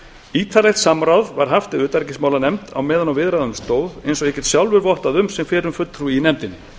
ítarlegt samráð var haft við utanríkismálanefnd meðan á viðræðunum stóð eins og ég get sjálfur vottað um sem fyrrum fulltrúi í nefndinni